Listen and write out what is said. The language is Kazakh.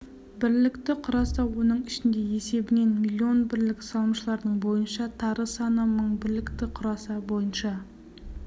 бірлікті құраса оның ішінде есебінен млн бірлік салымшылардың бойынша тары саны мың бірлікті құраса бойынша